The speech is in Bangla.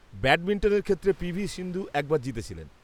-ব্যাডমিন্টনের ক্ষেত্রে পি.ভি. সিন্ধু একবার জিতেছিলেন।